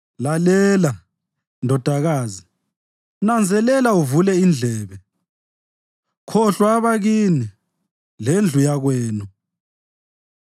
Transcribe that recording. Lalela, ndodakazi, nanzelela uvule indlebe; khohlwa abakini, lendlu yakwenu.